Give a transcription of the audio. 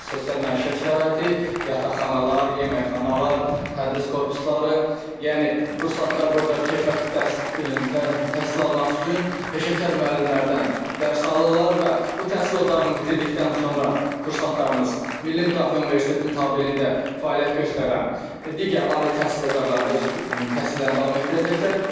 Sosial-məişət şəraiti, yataqxanalar, yeməkxanalar, tədris korpusları, yəni kursantlar burda keyfiyyətli təhsil alması üçün peşəkar müəllimlərdən dərs alırlar və bu təhsil ocağını bitirdikdən sonra kursantlarımız Milli Müdafiə Universitetinin tabeliyində fəaliyyət göstərən digər ali təhsil ocaqlarında öz təhsillərini davam etdirəcəklər.